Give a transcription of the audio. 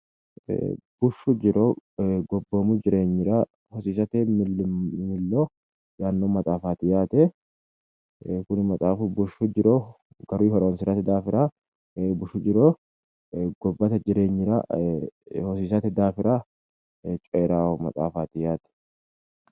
Bushshu jiro gobbate jireenyira hosiisate yaanno umini coyirano maxaaffati yaate